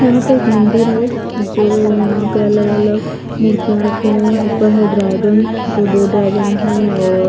यहा पे एक मंदिर है जो यह पे अलग अलग मुर्तिया रखी है उपर है ड्रैगन जो दो ड्रैगन है और--